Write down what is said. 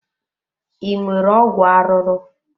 Ị nwere ọgwụ arụrụ?